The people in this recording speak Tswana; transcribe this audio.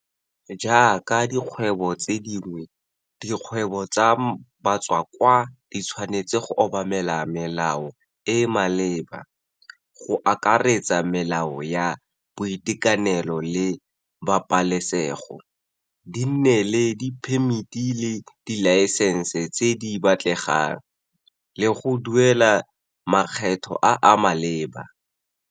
Jaaka dikgwebo tse dingwe, dikgwebo tsa batswakwa di tshwanetse go obamela melao e e maleba, go akaretsa melao ya boitekanelo le pabalesego, di nne le diphemiti le dilaesense tse di batlegang, le go duela makgetho a a maleba.